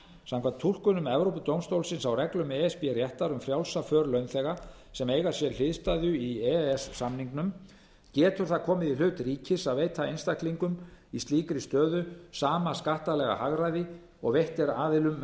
samkvæmt túlkunum evrópudómstólsins á reglum e s b réttar um frjálsa för launþega sem eiga sér hliðstæðu í e e s samningnum getur það komið í hlut ríkis að veita einstaklingum í slíkri stöðu sama skattalega hagræði og veitt er aðilum með